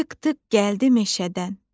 Tık-tık gəldi meşədən.